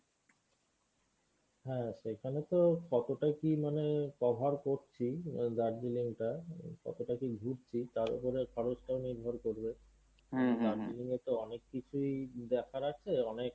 হ্যাঁ সেইখানে তো কতটা কী মানে cover করছি আহ দার্জিলিংটা উম কতটা কী ঘুরছি তার ওপরে খরচটা নির্ভর করবে। দার্জিলিং এ তো অনেককিছুই দেখার আছে অনেক